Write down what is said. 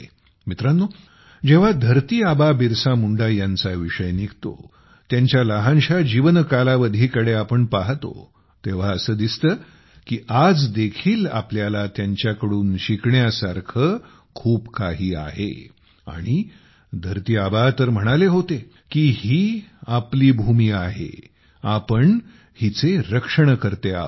मित्रांनो जेव्हा धरती आबा बिरसा मुंडा यांचा विषय निघतो त्यांच्या लहानशा जीवनकालावधीकडे आपण पाहतो तेव्हा असे दिसते की आज देखील आपल्याला त्यांच्याकडून शिकण्यासारखे खूप काही आहे आणि धरती आबा तर म्हणाले होते की हीआपली भूमी आहे आपण हिचे रक्षणकर्ते आहोत